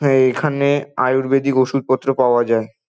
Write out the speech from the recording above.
এইখানে আয়ুর্বেদিক ওষুধ পত্র পাওয়া যায় ।